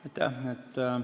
Aitäh!